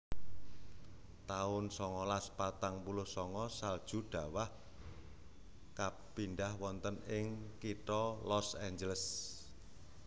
taun songolas patang puluh sanga Salju dhawah kapindhah wonten ing kitha Los Angeles